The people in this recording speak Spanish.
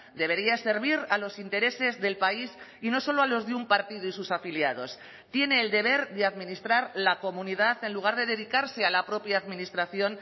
debería servir a los intereses del país y no solo a los de un partido y sus afiliados tiene el deber de administrar la comunidad en lugar de dedicarse a la propia administración